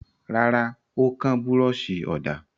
Rárá, ó kán búrọ́ṣì ọ̀dà.